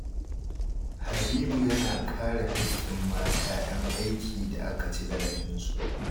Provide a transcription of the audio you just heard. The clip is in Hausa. Habibu yana kare hakkin mata 'yan aiki da aka ci zarafinsu